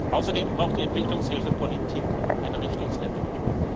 Außerdem braucht die Entwicklungshilfepolitik eine Richtungsänderung.